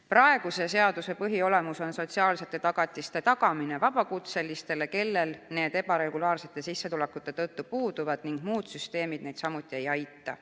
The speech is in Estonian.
Praeguse seaduse põhiolemus on sotsiaalsete tagatiste tagamine vabakutselistele, kellel need ebaregulaarsete sissetulekute tõttu puuduvad ning keda muud süsteemid samuti ei aita.